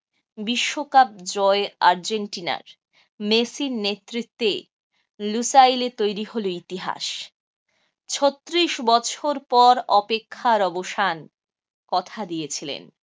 বিশ্বকাপ জয় আর্জেন্টিনার। মেসির নেতৃত্বে লুসাইলে তৈরি হল ইতিহাস। ছত্রিশ বছর পর অপেক্ষার অবসান, কথা দিয়েছিলেন